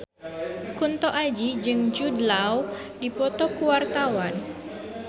Kunto Aji jeung Jude Law keur dipoto ku wartawan